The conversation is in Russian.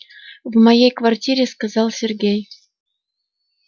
в моей квартире сказал сергей